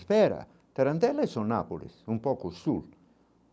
Espera, tarantela são nápoles, um pouco sul.